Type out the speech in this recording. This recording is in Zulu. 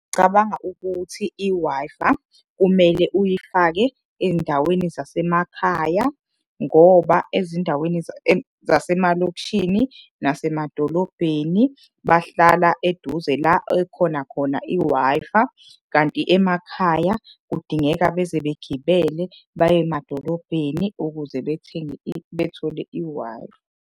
Cabanga ukuthi i-Wi-Fi, kumele uyifake ey'ndaweni zasemakhaya ngoba ezindaweni zasemalokishini nasemadolobheni bahlala eduze la ekhona khona i-Wi-Fi. Kanti emakhaya kudingeka beze begibele baye emadolobheni ukuze bethenge bethole i-Wi-Fi.